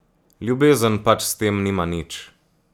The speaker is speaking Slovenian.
Ljubezen pač s tem nima nič.